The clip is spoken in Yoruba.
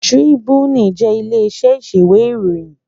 Trìbúní jè ilé iṣè iṣéwé iwé iróyìn